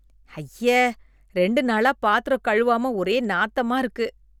ஐய, ரெண்டு நாளா பாத்திரம் கழுவாமா ஒரே நாத்தமா இருக்கு.